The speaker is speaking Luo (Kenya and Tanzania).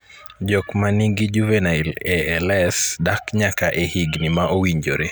Jogo man gi juvenile ALS dak nyaka e higni ma owinjore.